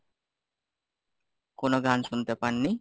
কোনো গান শুনতে পাননি?